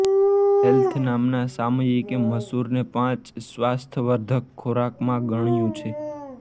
health નામના સામયિકે મસુરને પાંચ સ્વાસ્થ્યવર્ધક ખોરાકમાં ગણ્યું છે